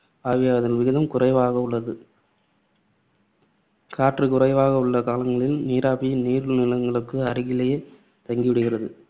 ஆவியாதல் விகிதம் குறைவாக உள்ளது. காற்று குறைவாக உள்ள காலங்களில் நீராவி, நீர் நிலங்களுக்கு அருகிலேயே தங்கி விடுகிறது.